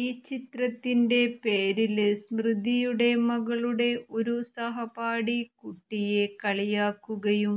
ഈ ചിത്രത്തിന്റെ പേരില് സ്മൃതിയുടെ മകളുടെ ഒരു സഹപാഠി കുട്ടിയെ കളിയാക്കുകയും